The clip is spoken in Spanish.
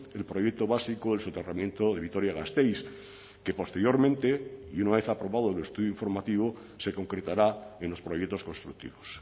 el proyecto básico el soterramiento de vitoria gasteiz que posteriormente y una vez aprobado el estudio informativo se concretará en los proyectos constructivos